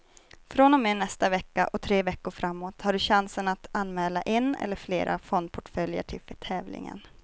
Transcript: Från och med nästa vecka och tre veckor framåt har du chansen att anmäla en eller flera fondportföljer till tävlingen.